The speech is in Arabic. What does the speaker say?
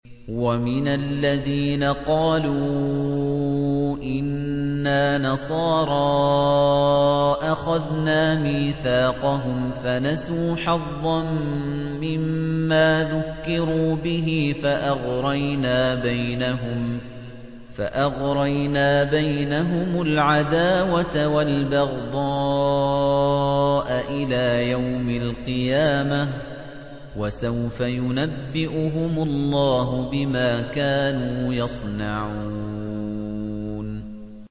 وَمِنَ الَّذِينَ قَالُوا إِنَّا نَصَارَىٰ أَخَذْنَا مِيثَاقَهُمْ فَنَسُوا حَظًّا مِّمَّا ذُكِّرُوا بِهِ فَأَغْرَيْنَا بَيْنَهُمُ الْعَدَاوَةَ وَالْبَغْضَاءَ إِلَىٰ يَوْمِ الْقِيَامَةِ ۚ وَسَوْفَ يُنَبِّئُهُمُ اللَّهُ بِمَا كَانُوا يَصْنَعُونَ